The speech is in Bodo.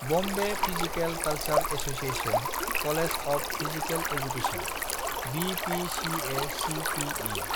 Bombay physical culture association college of physical education (BPCACPE).